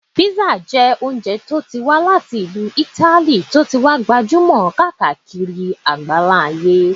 Písà jẹ́ oúnjẹ tí ó wá láti ìlú Italy tí ó ti wá gbajúmọ̀ kárí ayé